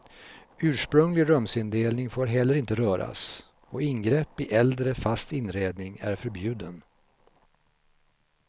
Ursprunglig rumsindelning får inte heller röras och ingrepp i äldre, fast inredning är förbjuden.